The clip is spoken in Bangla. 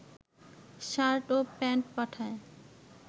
শার্ট ও প্যান্ট পাঠায়